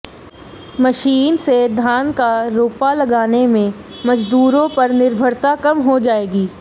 machine से धान का रोपा लगाने में मजदूरों पर निर्भरता कम हो जायेगी